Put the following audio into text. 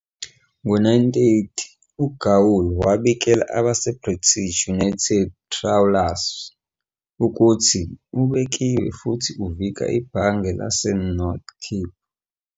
Ngo-09:30 "uGaul" wabikela abaseBritish United Trawlers ukuthi "ubekiwe futhi uvika ibhange laseNorth Cape ".